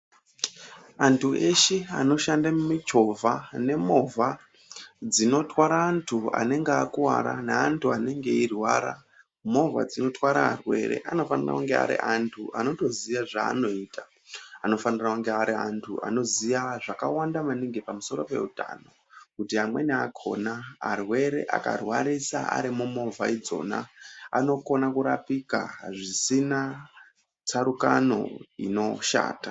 Antu eshe anoshande mumichovha nemovha dzinotwara antu anenge akuwara neantu enge eirwara, movha dzinotwara arwere anofanire kunge ari antu anotoziye zvaanoita, anofanira kunge ari antu anoziya zvakawanda maningi pamusoro peutano kuti amweni akona arwere akarwarisa arimo mumovha idzona anokona kurapika pasina tsarukano inoshata.